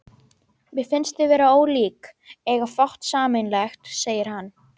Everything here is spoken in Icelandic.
Mér finnst þið vera ólík, eiga fátt sameiginlegt, segir hann.